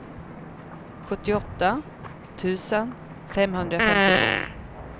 sjuttioåtta tusen femhundrafemtiotvå